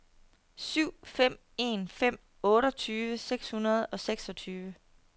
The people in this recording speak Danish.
syv fem en fem otteogtyve seks hundrede og seksogtyve